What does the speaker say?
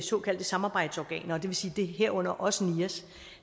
såkaldte samarbejdsorganer det vil sige herunder også nias